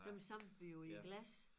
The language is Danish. Dem samlede vi jo i glas